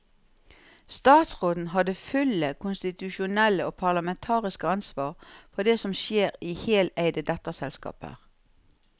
Statsråden har det fulle konstitusjonelle og parlamentariske ansvar for det som skjer i heleide datterselskaper.